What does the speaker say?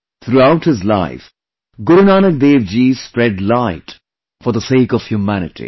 Throughout his life, Guru Nanak Dev Ji spread light for the sake of humanity